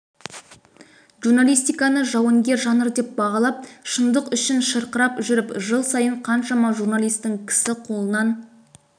журналистиканы жауынгер жанр деп бағалап шындық үшін шырқырап жүріп жыл сайын қаншама журналистің кісі қолынан